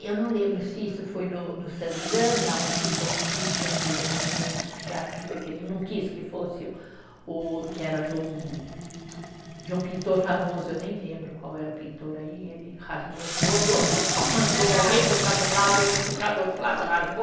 Eu não lembro se isso foi no no Santana ou se foi no Rio de Janeiro, não lembro que teatro que foi, que ele não quis que fosse o o, que era de um de um pintor famoso, eu nem lembro qual era o pintor aí, ele rasgou todo, mandou alguém puxar de um lado, outro puxar do outro lado, rasgou